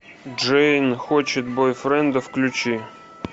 джейн хочет бойфренда включи